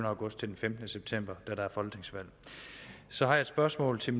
august til den femtende september da der er folketingsvalg så har jeg et spørgsmål til